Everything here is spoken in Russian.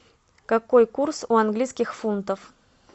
какой курс у английских фунтов